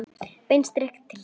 Beint strik inn til sín.